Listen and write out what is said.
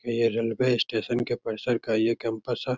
ये railway station के परिसर का ये कैंपस है ।